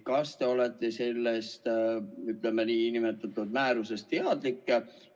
Kas te olete sellest nn määrusest teadlik?